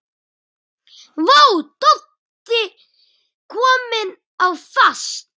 Vá, Doddi kominn á fast!